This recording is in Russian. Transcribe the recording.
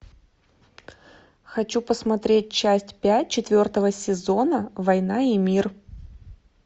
хочу посмотреть часть пять четвертого сезона война и мир